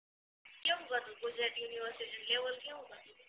કેવું ક હતું ગુજરાત યુનિવર્સિટી ની લેવલ કેવુંક હતું